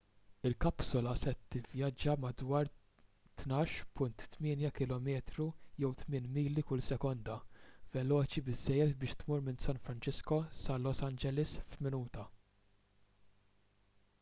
il-kapsula se tivvjaġġa b'madwar 12.8 km jew 8 mili kull sekonda veloċi biżżejjed biex tmur minn san francisco sa los angeles f'minuta